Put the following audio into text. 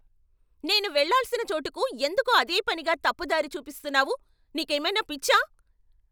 నేను వెళ్ళాల్సిన చోటుకు ఎందుకు అదే పనిగా తప్పు దారి చూపిస్తున్నావు. నీకేమైనా పిచ్చా?